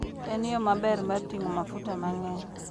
En yo maber mar ting'o mafuta mang'eny.